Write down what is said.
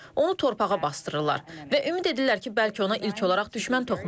Onu torpağa basdırırlar və ümid edirlər ki, bəlkə ona ilk olaraq düşmən toxunar.